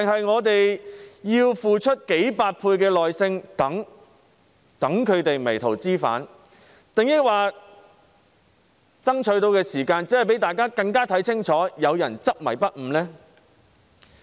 我們是否要付出數倍的耐性，等他們迷途知返，又或爭取時間讓大家看得更清楚有人執迷不悟呢？